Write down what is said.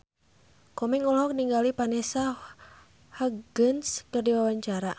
Komeng olohok ningali Vanessa Hudgens keur diwawancara